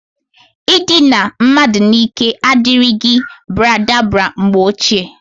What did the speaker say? Idina mmadu n'ike adirigi baradabara mgbe ochie.